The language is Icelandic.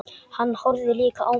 Hann horfði líka á mig.